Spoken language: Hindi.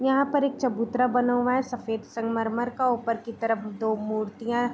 यहाँ एक चबूतरा बना हुआ है सफेद संगमरमर का ऊपर की तरफ दो मूर्तियां --